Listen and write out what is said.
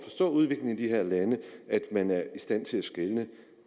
at være men